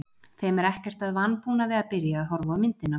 Þeim er ekkert að vanbúnaði að byrja að horfa á myndina.